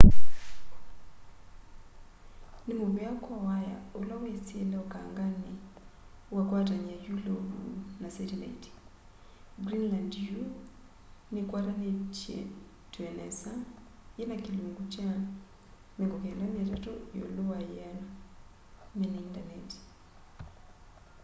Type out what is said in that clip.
nimuvea kwa waya ula wisile ukangani ukakwatany'a yulovu na setilaiti greenland yu nikwatanitw'e nesa yina kilungu kya 93 yiulu wa yiana mena intaneti